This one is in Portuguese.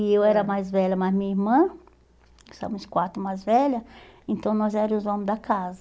E eu era a mais velha mais minha irmã, que são as quatro mais velhas, então nós éramos os homens da casa.